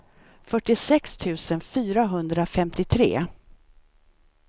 fyrtiosex tusen fyrahundrafemtiotre